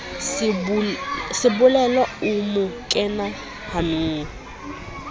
sebolelo o mo kena hanong